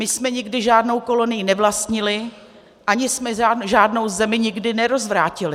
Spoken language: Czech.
My jsme nikdy žádnou kolonii nevlastnili ani jsme žádnou zemi nikdy nerozvrátili.